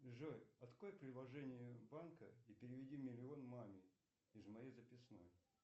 джой открой приложение банка и переведи миллион маме из моей записной